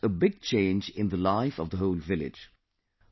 This has brought a big change in the life of the whole village